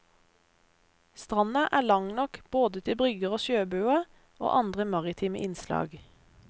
Stranda er lang nok både til brygger og sjøbuer og andre maritime innslag.